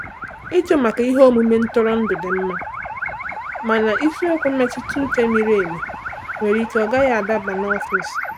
Ịjụ maka ihe omume ntụrụndụ dị mma, mana isiokwu mmetụta uche miri emi nwere ike ọ gaghị adaba n’ọfịs.